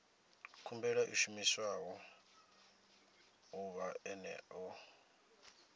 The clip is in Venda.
khumbelo i shumiwa ḓuvha ḽene ḽo